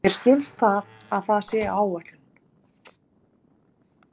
Mér skilst að það sé á áætlun.